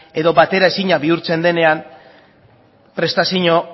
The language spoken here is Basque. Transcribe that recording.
edo bateraezinak bihurtzen denean prestazio